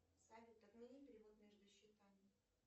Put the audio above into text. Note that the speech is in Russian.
салют отмени перевод между счетами